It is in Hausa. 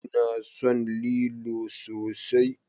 Ina son lilo sosai.